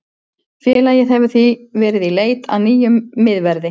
Félagið hefur því verið í í leit að nýjum miðverði.